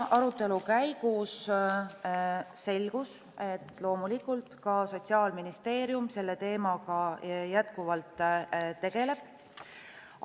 Arutelu käigus selgus, et loomulikult tegeleb selle teemaga jätkuvalt ka Sotsiaalministeerium.